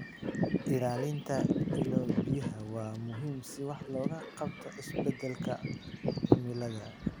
Ilaalinta ilo-biyaha waa muhiim si wax looga qabto isbedelka cimilada.